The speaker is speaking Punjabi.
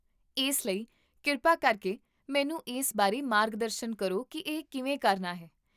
ਇਸ ਲਈ, ਕਿਰਪਾ ਕਰਕੇ ਮੈਨੂੰ ਇਸ ਬਾਰੇ ਮਾਰਗਦਰਸ਼ਨ ਕਰੋ ਕਿ ਇਹ ਕਿਵੇਂ ਕਰਨਾ ਹੈ